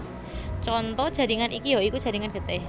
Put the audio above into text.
Conto jaringan iki ya iku jaringan getih